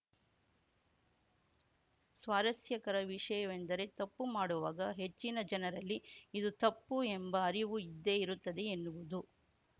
ಸ್ವಾರಸ್ಯಕರ ವಿಷಯವೆಂದರೆ ತಪ್ಪು ಮಾಡುವಾಗ ಹೆಚ್ಚಿನ ಜನರಲ್ಲಿ ಇದು ತಪ್ಪು ಎಂಬ ಅರಿವು ಇದ್ದೇ ಇರುತ್ತದೆ ಎನ್ನುವುದು